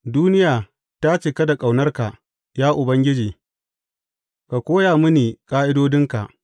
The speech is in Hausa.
Duniya ta cika da ƙaunarka, ya Ubangiji; ka koya mini ƙa’idodinka.